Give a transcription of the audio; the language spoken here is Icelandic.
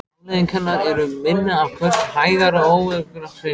Afleiðing hennar eru minni afköst, hægar og óöruggar hreyfingar.